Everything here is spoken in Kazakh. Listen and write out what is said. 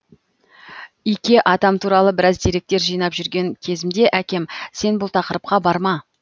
ике атам туралы біраз деректер жинап жүрген кезімде әкем сен бұл тақырыпқа барма